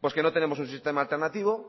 pues que no tenemos un sistema alternativo